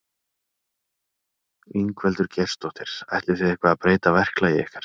Ingveldur Geirsdóttir: Ætlið þið eitthvað að breyta verklagi ykkar?